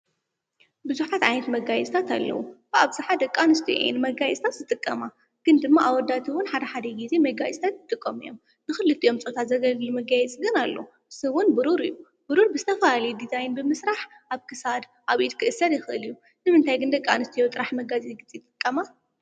ብዙሓት ዓይንት መጋየፅታት ኣለዉ፡፡ ብኣብዝሓ ደቂ ኣንስዮ እየን፡፡ መጋየፅታት ዝጥቀማ ግን ድማ ኣወዳት ውን ሓደ ሓደ ጊዜ መጋየፅታት ይጥቀሙ እዮም፡፡ ብኽልቲኦም ጾታ ዘገልግሉ መጋይፅታት ግና ኣለው፡፡ ንሱ ውን ብሩር እዩ፡፡ ብሩር ብዝተፈላለየ ዲዛይን ብምስራሕ ኣብ ክሳድ ኣብ ኢድ ክእሰር ይኽእል እዩ፡፡ ንምንታይ ግን ደቂ ኣንስትዮ ጥራሕ መጋየፂ ዝጥቀማ?